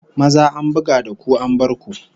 Maza an buga da ku an bar ku!